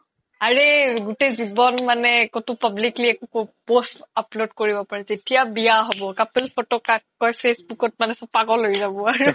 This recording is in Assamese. আৰেই গোতেই জিৱ্ন একোতো publicly post upload কৰিব পাৰি যেতিয়া বিয়া হ্'ব couple photo কাক কই facebook ত চ্'ব পাগল হৈ যাব আৰু